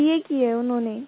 sir बा किया हुआ है उन्होंने